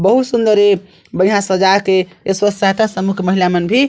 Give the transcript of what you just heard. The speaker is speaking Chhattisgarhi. बहुत सुन्दर एक बढ़िया सजाए के ए सोक सहायता सम्मुख महिला मन भी--